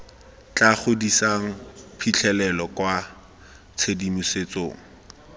tla godisang phitlhelelo kwa tshedimosetsong